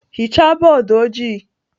Hichaa bọọdụ ojii!